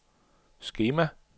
skema